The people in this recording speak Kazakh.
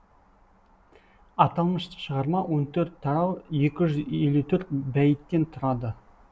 аталмыш шығарма он төрт тарау екі жүз елу төрт бәйіттен тұрады